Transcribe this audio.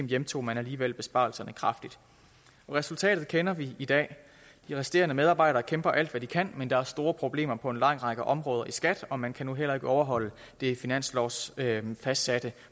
hjemtog man alligevel besparelserne kraftigt resultatet kender vi i dag de resterende medarbejdere kæmper alt hvad de kan men der er store problemer på en lang række områder i skat og man kan nu heller ikke overholde det finanslovsfastsatte